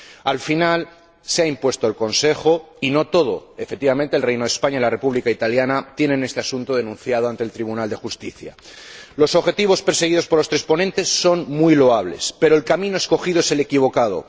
Al final, se ha impuesto el Consejo, y no todo efectivamente el Reino de España y la República Italiana han denunciado este asunto ante el Tribunal de Justicia. Los objetivos perseguidos por los tres ponentes son muy loables, pero el camino escogido es el equivocado.